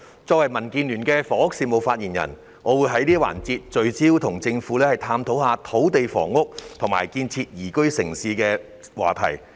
作為民主建港協進聯盟的房屋事務發言人，我會在這個環節，聚焦與政府探討土地房屋及建設宜居城市的話題。